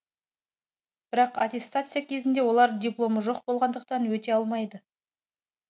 бірақ аттестация кезінде олар дипломы жоқ болғандықтан өте алмайды